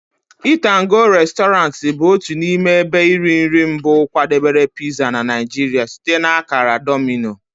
Eat'N'Go Resturant bụ otu n'ime ebe iri nri mbụ kwadebere pizza na Nigeria site na akara Domino.